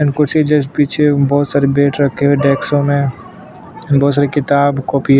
and कुर्सी के just पीछे बोहोत सारे बैट रखे है डेस्को में बोहोत सारी किताब कॉपी --